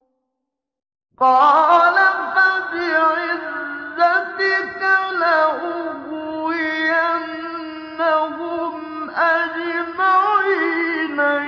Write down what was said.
قَالَ فَبِعِزَّتِكَ لَأُغْوِيَنَّهُمْ أَجْمَعِينَ